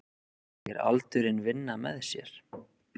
Segir aldurinn vinna með sér